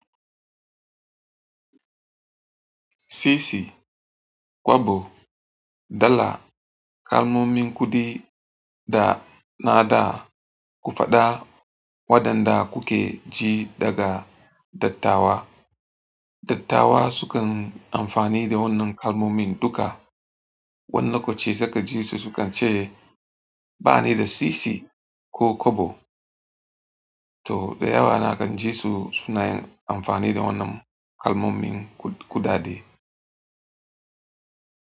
Sisi, kwabo, dala kalmomin kuɗi da na da ku faɗa waɗanda kuke ji daga dattawa. Dattawa sukan amfani da wannan kalmomin duka. Wani lokaci suka ji su sukan ce ba ni da sisi ko kwabo. To da yawa na kan ji su suna yin amfani da wannan kalmomin kuɗaɗe.